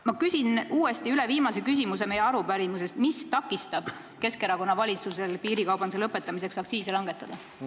Ma küsin uuesti üle meie arupärimise viimase küsimuse: mis takistab Keskerakonna valitsusel piirikaubanduse lõpetamiseks aktsiise langetada?